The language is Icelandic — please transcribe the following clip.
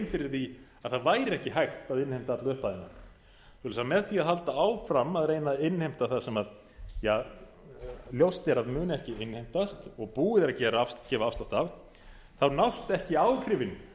fyrir að það væri ekki hægt að innheimta alla upphæðina svoleiðis að með því að halda áfram að reyna að innheimta það sem ljóst er að muni ekki innheimtast og búið er að gefa afslátt af þá nást ekki áhrifin